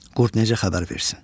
Qurd necə xəbər versin?